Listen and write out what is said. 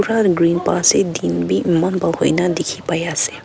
green pa ase din bi eman bal hoina teki pai ase.